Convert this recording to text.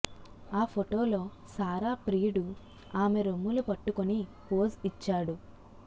ఆ ఫొటోలో సారా ప్రియుడు ఆమె రొమ్ములు పట్టుకుని పోజ్ ఇచ్చాడు